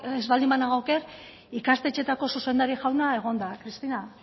ez baldin banago oker ikastetxeetako zuzendari jauna egon da kristina